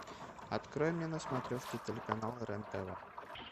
открой мне на смотрешке телеканал рен тв